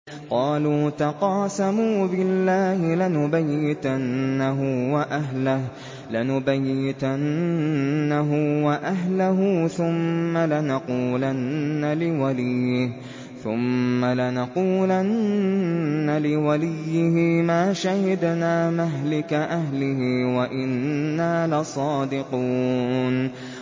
قَالُوا تَقَاسَمُوا بِاللَّهِ لَنُبَيِّتَنَّهُ وَأَهْلَهُ ثُمَّ لَنَقُولَنَّ لِوَلِيِّهِ مَا شَهِدْنَا مَهْلِكَ أَهْلِهِ وَإِنَّا لَصَادِقُونَ